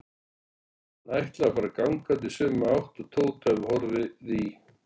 Hann ætlaði að fara gangandi í sömu átt og Tóti hafði horfið í.